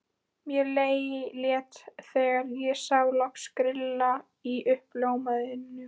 Mér létti þegar ég sá loks grilla í uppljómað húsið.